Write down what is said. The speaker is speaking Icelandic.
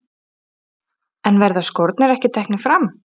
En verða skórnir ekki teknir fram?